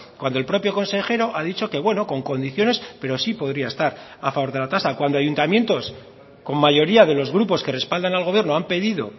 cuando el propio consejero ha dicho que bueno con condiciones pero sí podría estar a favor de la tasa cuando ayuntamientos con mayoría de los grupos que respaldan al gobierno han pedido